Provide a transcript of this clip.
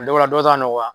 Dɔw b'a la dɔw ta nɔgɔya